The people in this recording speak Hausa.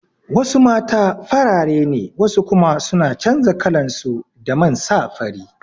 Wasu mata farare ne wasu kuma suna canza kalansu da man sa fari